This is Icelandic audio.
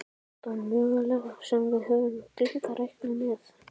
Þetta var möguleiki sem við höfðum gleymt að reikna með.